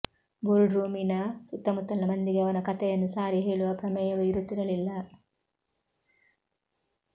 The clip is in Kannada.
ಬೋರ್ಡ್ರೂಮಿನ ಸುತ್ತಮುತ್ತಲಿನ ಮಂದಿಗೆ ಅವನ ಕತೆಯನ್ನು ಸಾರಿ ಹೇಳುವ ಪ್ರಮೇಯವೇ ಇರುತ್ತಿರಲಿಲ್ಲ